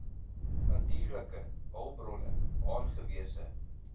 natuurlike hulpbronne aangewese